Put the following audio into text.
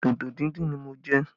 Dodo díndín ni mo jẹ